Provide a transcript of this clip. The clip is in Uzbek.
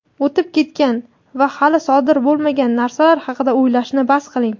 o‘tib ketgan va hali sodir bo‘lmagan narsalar haqida o‘ylashni bas qiling.